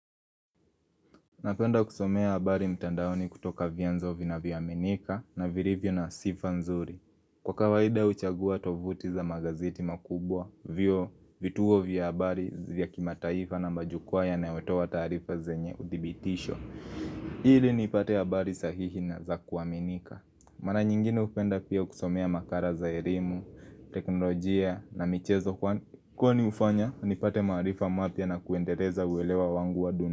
Napenda kusomea habari mtandaoni kutoka vyanzo vinavyoaminika na vilivyo na sifa nzuri Kwa kawaida huchagua tovuti za magazeti makubwa vio vituo vya habari vya kimataifa na majukwaa yanayotoa tarifa zenye udhibitisho ili ni ipate habari sahihi na za kuaminika Mara nyingine hupenda pia kusomea makala za elimu, teknolojia na michezo kwani hufanya, nipate maarifa mapya na kuendeleza uelewa wangu wa dunia.